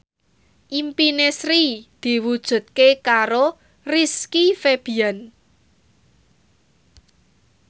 impine Sri diwujudke karo Rizky Febian